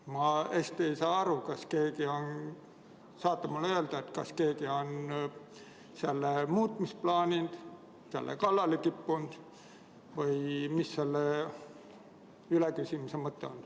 Ma ei saa hästi aru, kas keegi on – kas te saate mulle öelda – selle muutmist plaaninud, sellele kallale kippunud või mis selle üleküsimise mõte on.